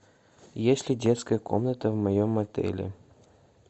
есть ли детская комната в моем отеле